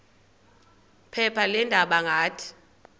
phepha leendaba ngathi